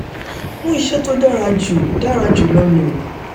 mú ìṣe tó dára jù dára jù lọ lò